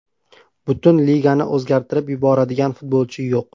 Butun ligani o‘zgartirib yuboradigan futbolchi yo‘q.